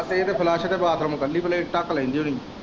ਤੇ ਇਹ ਤੇ ਫਲੱਸ਼ ਤੇ ਬਾਥਰੂਮ ਕੱਲੀ ਪਲੇਟ ਢੱਕ ਲੈਂਦੀ ਹੁਣੀ।